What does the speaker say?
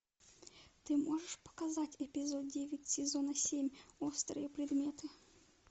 ты можешь показать эпизод девять сезона семь острые предметы